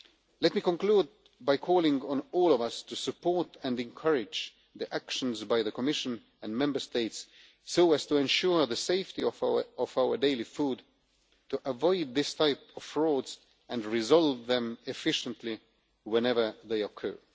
Let me conclude by calling on all of us to support and encourage the actions taken by the Commission and Member States to ensure the safety of our daily food, to avoid these types of fraud and to resolve them efficiently whenever they occur.